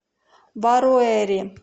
баруэри